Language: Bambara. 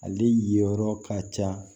Ale ye yɔrɔ ka ca